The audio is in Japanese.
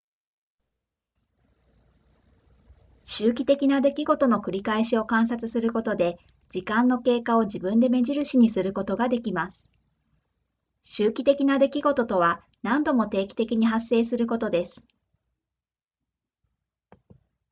周期的な出来事の繰り返しを観察することで時間の経過を自分で目印にすることができます周期的な出来事とは何度も定期的に発生することです